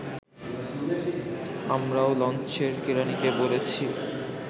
আমরাও লঞ্চের কেরানীকে বলেছি